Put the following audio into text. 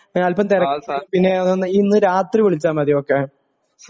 ഞാൻ അല്പ്പം തിരക്കിലാ പിന്നെ ഇന്നു രാത്രി വിളിച്ചാ മതി ഓ കെ